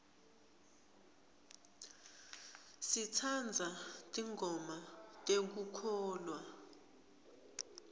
sitsandza tingoma tekukholwa